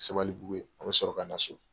Sabalibugu yen, an bɛ sɔrɔ ka na so.